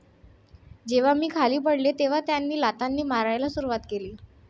जेव्हा मी खाली पडले तेव्हा त्यांनी लाथांनी मारायला सुरुवात केली.